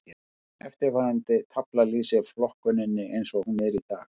Eftirfarandi tafla lýsir flokkuninni eins og hún er í dag.